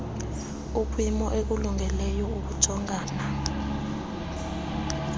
ukwimo ekulungeleyo ukujongana